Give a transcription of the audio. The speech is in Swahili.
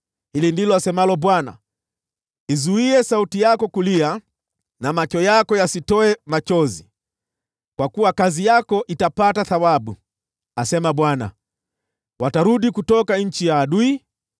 Hili ndilo asemalo Bwana : “Izuie sauti yako kulia, na macho yako yasitoe machozi, kwa kuwa kazi yako itapata thawabu,” asema Bwana . “Watarudi kutoka nchi ya adui.